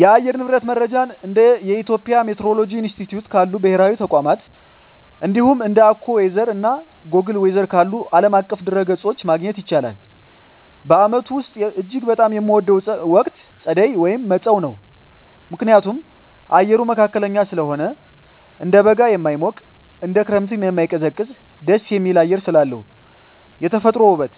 የአየር ንብረት መረጃን እንደ የኢትዮጵያ ሚቲዎሮሎጂ ኢንስቲትዩት ካሉ ብሔራዊ ተቋማት፣ እንዲሁም እንደ AccuWeather እና Google Weather ካሉ ዓለም አቀፍ ድረ-ገጾች ማግኘት ይቻላል። በዓመቱ ውስጥ እጅግ በጣም የምወደው ወቅት ጸደይ (መጸው) ነው። ምክንያቱም፦ አየሩ መካከለኛ ስለሆነ፦ እንደ በጋ የማይሞቅ፣ እንደ ክረምትም የማይቀዘቅዝ ደስ የሚል አየር ስላለው። የተፈጥሮ ውበት፦